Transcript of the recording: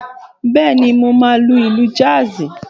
Bẹ́ẹ̀ni, mo máa lu ìlù jazz?